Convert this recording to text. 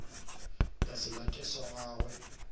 ka se late sa gagwe